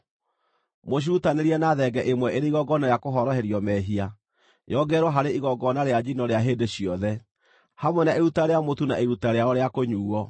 Mũcirutanĩrie na thenge ĩmwe ĩrĩ igongona rĩa kũhoroherio mehia, yongererwo harĩ igongona rĩa njino rĩa hĩndĩ ciothe, hamwe na iruta rĩa mũtu na iruta rĩao rĩa kũnyuuo.